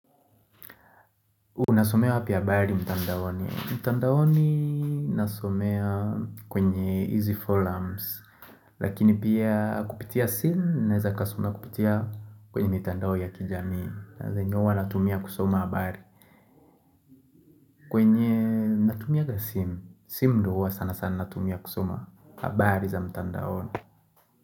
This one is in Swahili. Unasomea wapi habari mtandaoni. Mtandaoni nasomea kwenye izi forums. Lakini pia kupitia simu naweza kasoma kupitia kwenye mitandaoni ya kijamii. Na zenye uwa natumia kusoma habari. Kwenye natumianga simu. Simu ndo uwa sana sana natumia kusoma. Abari za mtandaoni.